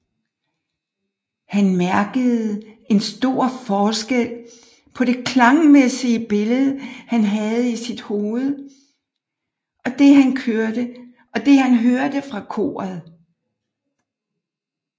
Han mærkede en stor forskel på det klangmæssige billede han havde i sit hoved og det han hørte fra koret